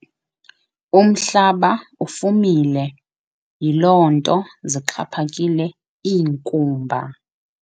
Umhlaba ufumile yiloo nto zixhaphakile iinkumba.